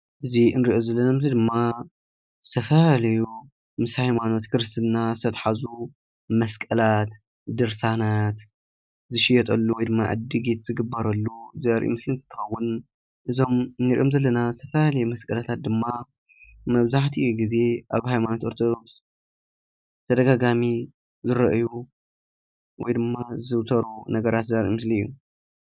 እዚ እንሪኦ ዘለና ምስሊ ድማ ዝተፈላለዩ ምስ ሃይማኖት ክርስትና ዝተትሓሓዙ መስቀላት፣ ድርሳናት ዝሽየጠሉ ወይ ድማ ዕድጊት ዝግበረሉ ዘርኢ ምስሊ እንትኸዉን፣ እዞም እንሪኦም ዘለና ዝተፈላለዩ መስቀላታት ድማ መብዛሕቲኡ ግዜ ኣብ ሃይማኖት ኦርቶዶክስ ተደጋጋሚ ዝርኣዩ ወይ ድማ ዝዝውተሩ ነገራት ዘርኢ ምስሊ እዩ።